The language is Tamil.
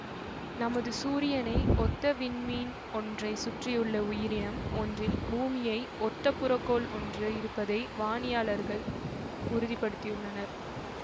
நமது சூரியனை ஒத்த விண்மீன் ஒன்றை சுற்றியுள்ள உயிரினம் ஒன்றில் பூமியை ஒத்த புறக்கோள் ஒன்று இருப்பதை வானியாளர்கள் உறுதி படுத்தியுள்ளனர்